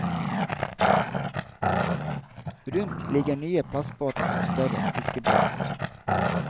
Rundt ligger nye plastbåter og større fiskebåter.